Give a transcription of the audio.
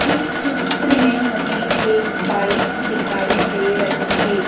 इस चित्र में हमें एक बाइक दिखाई दे रही है।